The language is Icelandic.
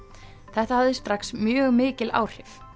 þetta hafði strax mjög mikil áhrif